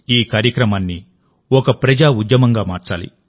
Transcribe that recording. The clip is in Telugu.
ఈ కార్యక్రమాన్ని ఒక ప్రజా ఉద్యమంగా మార్చాలి